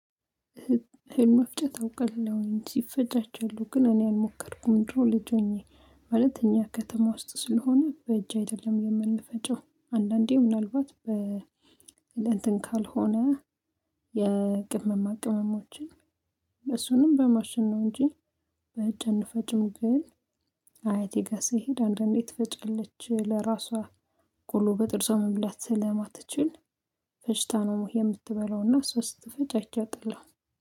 መፍጨት አውቀለሁኝ ሲፈጭ አይቻለው ግን እኔ አልሞከርኩም ድሮ ልጅ ሆኜ ማለት እኛ ከተማ ውስጥ ስለሆነ በእጅ አይደለም የምንፈጨው አንዳንዴ ምናልባት በ ለእንትን ካልሆነ የቅመማ ቅመሞችን እሱንም በማሽን ነው እንጂ። ግን አያቴ ጋር ስሄድ አንዳንዴ ትፈጨለች ለራሷ ቆሎ በጥርስ መብላት ስለማትችል ፈጭታ ነው። የምትበላውና እሷ ስትፈጭ አይቼ አቃለው።